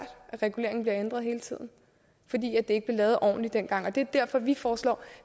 at reguleringen bliver ændret hele tiden fordi det ikke blev lavet årligt dengang og det er derfor vi foreslår